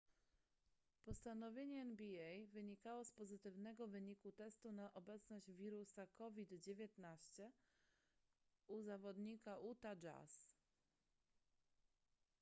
postanowienie nba wynikało z pozytywnego wyniku testu na obecność wirusa covid-19 u zawodnika utah jazz